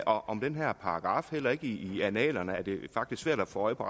om den her paragraf heller ikke i annalerne det er faktisk svært at få øje på